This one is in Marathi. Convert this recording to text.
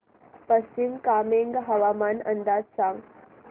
पश्चिम कामेंग हवामान अंदाज सांगा